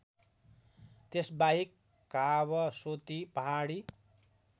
त्यसबाहेक कावसोती पहाडी